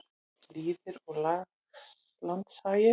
Lýðir og landshagir.